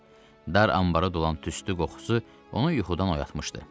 Dar anbara dolan tüstü qoxusu onu yuxudan oyatmışdı.